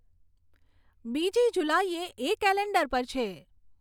બીજી જુલાઈએ એ કેલેન્ડર પર છે